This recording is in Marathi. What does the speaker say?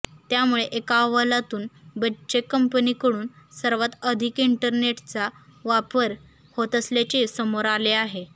त्यामुळे एका अहवालातून बच्चे कंपनीकडून सर्वात अधिक इंटरनेचा वापर होत असल्याचे समोर आले आहे